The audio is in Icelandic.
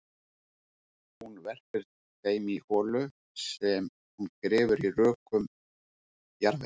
Hún verpir þeim í holu sem hún grefur í rökum jarðvegi.